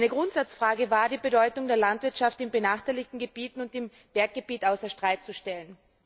Eine Grundsatzfrage war es, die Bedeutung der Landwirtschaft in benachteiligten Gebieten und in Berggebieten außer Streit zu stellen.